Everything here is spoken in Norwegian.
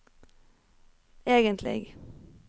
egentlig